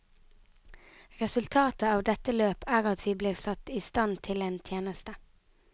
Resultatet av dette løp er at vi blir satt i stand til en tjeneste.